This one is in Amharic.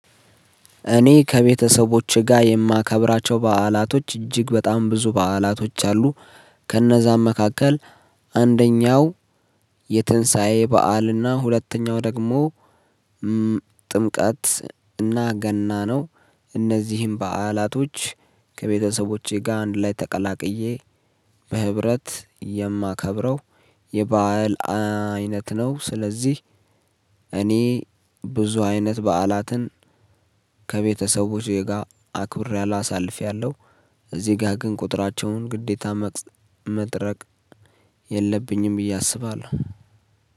እኔ ከቤተሰቦቼ ጋር የማከብራቸው በዓላቶች እጅግ በጣም ብዙ በዓላቶች አሉ። ከነዛም መካከል አንደኛው የትንሳኤ በዓልና ሁለተኛው ደግሞ ጥምቀት አንደኛው የትንሳኤ በዓልና ሁለተኛው ደግሞ ጥምቀት እና ገና ነው። እነዚህን በዓላቶች ከቤተሰቦቼ ጋር አንድ ላይ ተቀላቅዬ በህብረት የማከብረው የበአል አይነት ነው። ስለዚህ እኔ ብዙ አይነት በዓላትን ዜጋ አክብር ያለው አሳልፌያለሁ።